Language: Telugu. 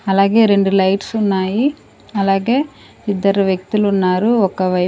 అలాగే రెండు లైట్స్ ఉన్నాయి అలాగే ఇద్దరు వ్యక్తులు ఉన్నారు ఒకవై--